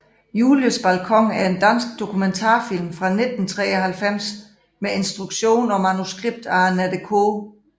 Julies balkon er en dansk dokumentarfilm fra 1993 med instruktion og manuskript af Annette K